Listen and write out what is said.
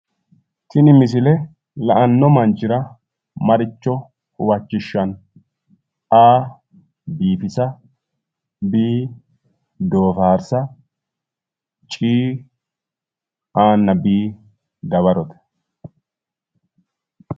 Tini misile la'anno manchira maricho huwachishshanno? A/biifisa B/doofaarsa C/A nna B dawarote